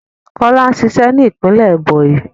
Kọlá ń ṣiṣẹ́ ní ìpínlẹ̀ Ẹ̀bònyì